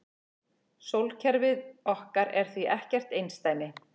Sólkerfið okkar er því ekkert einsdæmi.